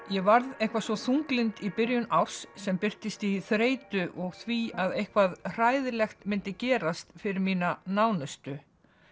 ég varð eitthvað svo þunglynd í byrjun árs sem birtist í þreytu og því að eitthvað hræðilegt myndi gerast fyrir mína nánustu